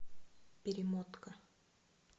перемотка